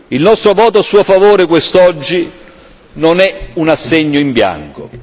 Il nostro voto a Suo favore quest'oggi non è un assegno in bianco.